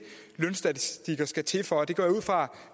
lønstatistikker skal til for det går jeg ud fra